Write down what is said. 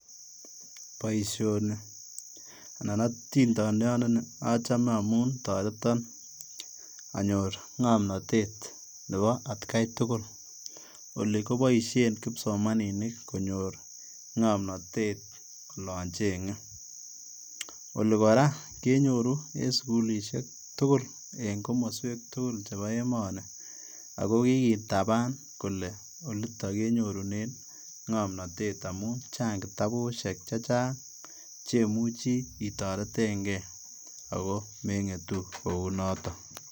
Boisioni anan otindoniondoni ochome amun toreton anyor ngomnotet nebo atkai tugul, oli koboisien kipsomaninik konyor ngomnotet olon chengee, oli koraa kenyoru en sugulisiek tugul en komosweek tugul cheboo emoni, ako kikitaban kole oliton kenyorunen ngomnotet amun chang' kitabusiek chechang chemuche itoretengee ako mengetu kounoton.